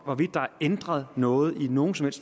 hvorvidt der er ændret noget i nogen som